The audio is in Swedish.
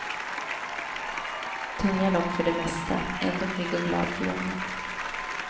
Tunga lopp för det mesta, ändå pigg och glad för jämnan.